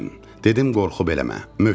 Dedim, qorxu beləmə, möhkəm ol.